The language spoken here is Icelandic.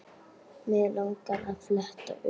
Mig langar að fletta upp.